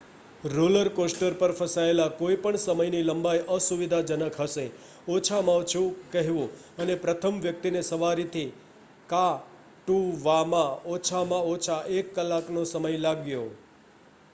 roller coaster પર ફસાયેલા કોઈપણ સમયની લંબાઈ અસુવિધાજનક હશે ઓછામાં ઓછું કહેવું અને પ્રથમ વ્યક્તિને સવારીથી કા toવામાં ઓછામાં ઓછો એક કલાકનો સમય લાગ્યો